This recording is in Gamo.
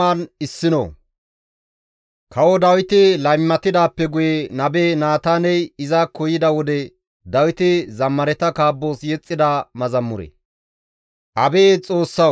Abeet Xoossawu! Ne mernaa siiqoza mala tana maara; ne qadheta daron ta mooroza qucca.